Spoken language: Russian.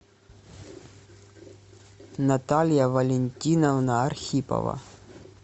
наталья валентиновна архипова